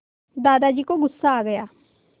दादाजी को गुस्सा आ गया